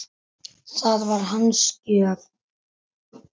Það var hans gjöf.